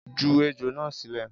Ju ejò na silẹ.